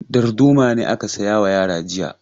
Darduma ne aka saya wa yara jiya.